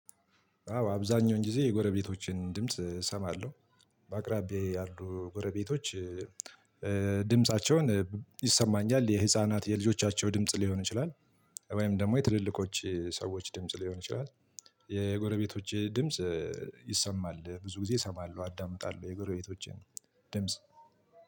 አዎ አብዛኛውን ጊዜ የጎረቤቶቼን ድምጽ እሰማለሁ። በአቅራቢያዬ ያሉ ጎረቤቶች። ድምፃቸውን ይሰማኛል የህፃናት የልጆቻቸው ድምጽ ሊሆን ይችላል። ወይም ደግሞ የትልልቆች ሰዎች ድምጽ ሊሆን ይችላል። የጎረቤቶቼ ድምጽ ይሰማል ብዙ ጊዜ እሰማለሁ አዳምጣለሁ የጎረቤቶቼን ድምጽ።